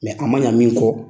Mɛ a ma ɲa min kɔ